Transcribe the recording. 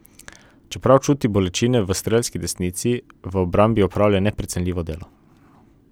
Čeprav čuti bolečine v strelski desnici, v obrambi opravlja neprecenljivo delo.